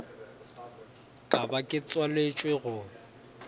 ka ba ke tswaletšwe go